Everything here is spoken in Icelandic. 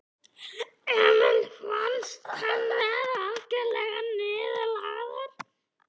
Emil fannst hann vera algjörlega niðurlægður.